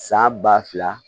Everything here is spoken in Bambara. San ba fila